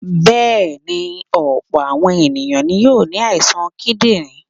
Bẹ́ẹ̀ ni, ọ̀pọ̀ àwọn èèyàn ní yóò ní àìsàn kídìrí.